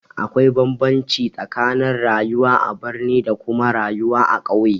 Akwai bambamci tsakanin rayuwa a birni da kuma rayuwa a ƙauye